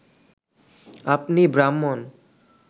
আপনি ব্রাহ্মণ